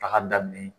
Taga daminɛ